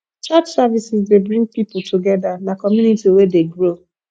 church services dey bring pipo together na community wey dey grow